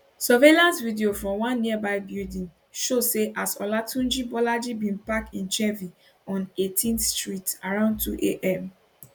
surveillance video from one nearby building show say as olatunji bolaji bin park im chevy on 18th street around 2 am